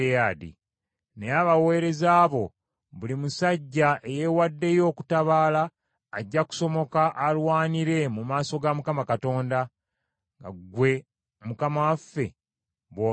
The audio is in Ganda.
Naye abaweereza bo, buli musajja eyeewaddeyo okutabaala ajja kusomoka alwanire mu maaso ga Mukama Katonda, nga ggwe mukama waffe bw’ogambye.”